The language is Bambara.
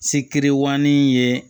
Sikiri ŋanin ye